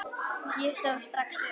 Ég stóð strax upp.